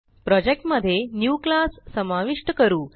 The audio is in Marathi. प्रोजेक्ट मध्ये न्यू क्लास समाविष्ट करू